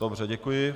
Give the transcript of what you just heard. Dobře, děkuji.